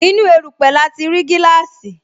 Inú erupe lati ri gíláàsì